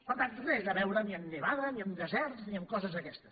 per tant res a veure ni amb nevada ni amb deserts ni amb coses d’aquestes